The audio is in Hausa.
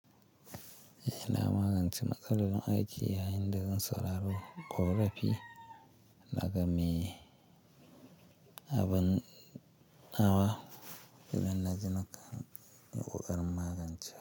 Ina magance matsalar nan aiki yayin da zan saurari ƙorafi, daga mi abin nawa, idan na ji na kan yi ƙoƙarin magance shi.